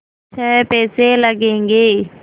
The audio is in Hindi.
छः पैसे लगेंगे